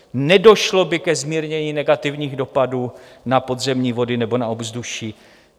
Nedošlo by ke zmírnění negativních dopadů na podzemní vody nebo na ovzduší.